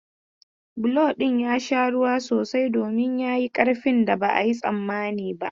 Bulo ɗin ya sha ruwa sosai domin ya yi ƙarfin da ba a yi tsammani ba.